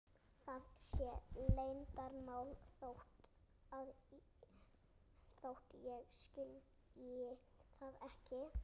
Það sé leyndarmál þótt ég skilji það ekki.